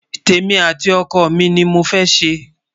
témi àti ọkọ mí ní mọ fé ṣé